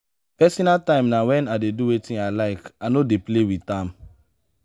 personal time na wen i dey do wetin i like i no dey play wit am.